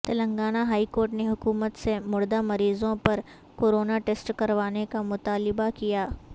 Telangana high court نے حکومت سے مردہ مریضوں پر کورونا ٹیسٹ کروانے کا مطالبہ کیا